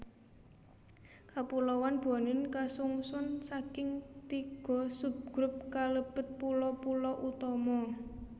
Kapuloan Bonin kasungsun saking tiga subgrup kalebet pulo pulo utama